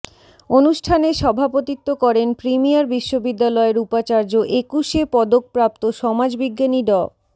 অনুষ্ঠানে সভাপতিত্ব করেন প্রিমিয়ার বিশ্ববিদ্যালয়ের উপাচার্য একুশে পদকপ্রাপ্ত সমাজবিজ্ঞানী ড